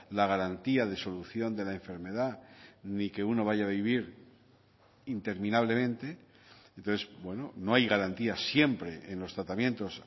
la garantía de solución de la enfermedad ni que uno vaya a vivir interminablemente entonces bueno no hay garantías siempre en los tratamientos